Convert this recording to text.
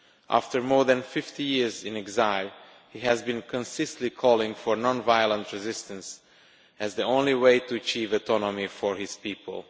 After more than 50 years in exile, he has been consistently calling for non violent resistance, as the only way to achieve autonomy for his people.